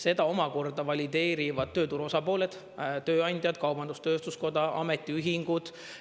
Seda omakorda valideerivad tööturu osapooled – tööandjad, kaubandus-tööstuskoda, ametiühingud.